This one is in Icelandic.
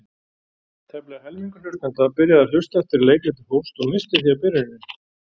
Tæplega helmingur hlustenda byrjaði að hlusta eftir að leikritið hófst og missti því af byrjuninni.